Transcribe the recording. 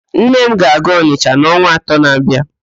Nne m ga-aga Ọnịsha n'ọnwa atọ na-abịa